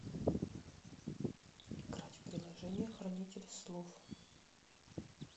играть в приложение хранитель слов